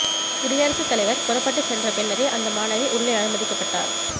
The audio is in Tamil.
குடியரசுத் தலைவர் புறப்பட்டு சென்ற பின்னரே அந்த மாணவி உள்ளே அனுமதிக்கப்பட்டார்